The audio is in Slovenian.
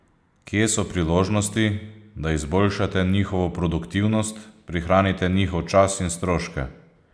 Kje so priložnosti, da izboljšate njihovo produktivnost, prihranite njihov čas in stroške?